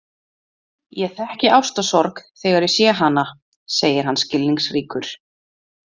Ég þekki ástarsorg þegar ég sé hana, segir hann skilningsríkur.